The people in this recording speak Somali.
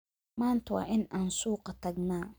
Maanta waa in aan suuqa tagnaa